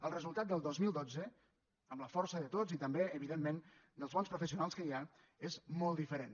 el resultat del dos mil dotze amb la força de tots i també evidentment dels bons professionals que hi ha és molt diferent